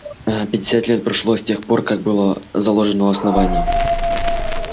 ээ пятьдесят лет прошло с тех пор как было ээ заложено основание